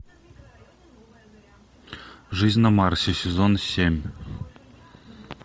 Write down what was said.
жизнь на марсе сезон семь